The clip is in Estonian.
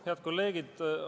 Head kolleegid!